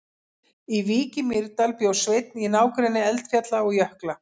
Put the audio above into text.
Í Vík í Mýrdal bjó Sveinn í nágrenni eldfjalla og jökla.